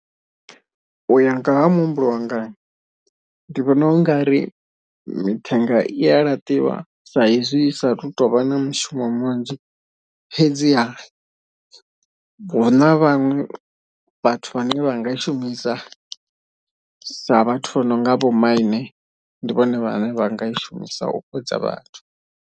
Uya nga ha muhumbulo wanga ndi vhona u ngari mithenga i a laṱiwa saizwi i saathu tovha na mushumo munzhi. Fhedziha huna vhaṅwe vhathu vhane vha nga i shumisa sa vhathu vha no nga vho maine ndi vhone vhane vha nga i shumisa u fhodza vhathu.